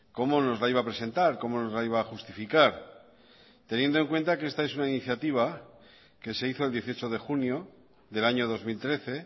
cómo nos la iba a presentar cómo nos la iba a justificar teniendo en cuenta que esta es una iniciativa que se hizo el dieciocho de junio del año dos mil trece